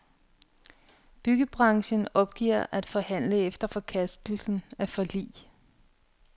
Byggebranchen opgiver at forhandle efter forkastelse af forlig.